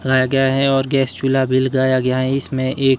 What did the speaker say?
लाया गया है और गैस चूल्हा भी लगाया गया है इसमें एक--